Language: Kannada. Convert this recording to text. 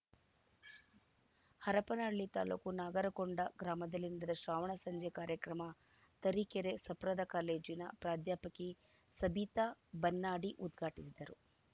ಹರಪನಹಳ್ಳಿ ತಾಲೂಕು ನಾಗರಕೊಂಡ ಗ್ರಾಮದಲ್ಲಿ ನಡೆದ ಶ್ರಾವಣ ಸಂಜೆ ಕಾರ್ಯಕ್ರಮ ತರೀಕೆರೆ ಸಪ್ರದ ಕಾಲೇಜಿನ ಪ್ರಾಧ್ಯಾಪಕಿ ಸಬಿತಾ ಬನ್ನಾಡಿ ಉದ್ಘಾಟಿಸಿದರು